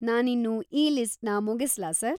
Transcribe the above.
ನಾನಿನ್ನು ಈ ಲಿಸ್ಟ್‌ನ ಮುಗಿಸ್ಲಾ ಸರ್?